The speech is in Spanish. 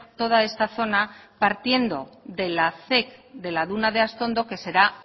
toda esta zona partiendo de la zec de la duna de astondo que será